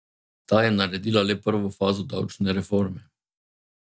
Ta je naredila le prvo fazo davčne reforme.